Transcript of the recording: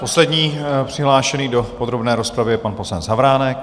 Poslední přihlášený do podrobné rozpravy je pan poslanec Havránek.